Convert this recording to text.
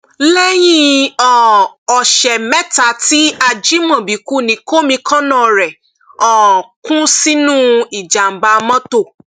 lẹyìn um ọsẹ mẹta tí ajimobi kú ni kọmíkànnà rẹ um kú sínú ìjàmbá mọtò